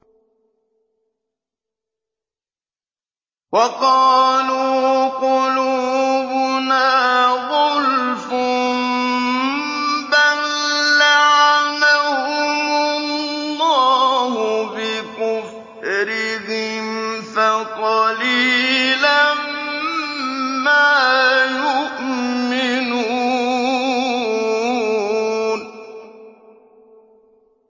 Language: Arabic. وَقَالُوا قُلُوبُنَا غُلْفٌ ۚ بَل لَّعَنَهُمُ اللَّهُ بِكُفْرِهِمْ فَقَلِيلًا مَّا يُؤْمِنُونَ